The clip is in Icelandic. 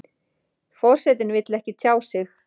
Forsetinn vill ekki tjá sig